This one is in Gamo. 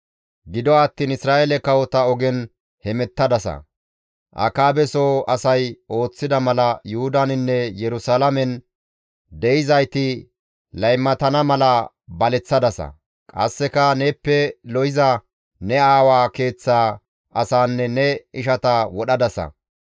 Gido attiin Isra7eele kawota ogen heemettadasa; Akaabeso asay ooththida mala Yuhudaninne Yerusalaamen de7izayti laymatana mala baleththadasa; qasseka neeppe lo7iza ne aawaa keeththa asanne ne ishata wodhadasa.